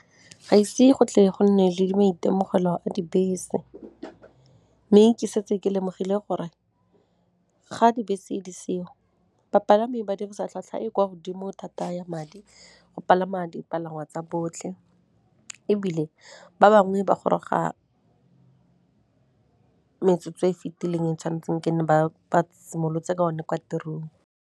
Ga ise go tle go nne le di maitemogelo a dibese, mme ke setse ke lemogile gore ga dibese di seo, bapalami ba dirisa tlhwatlhwa e kwa godimo thata ya madi go palama dipalangwa tsa botlhe, ebile ba bangwe ba goroga metsotso e fitileng e tshwan'tseng nkene ba simolotse ka one kwa tirong.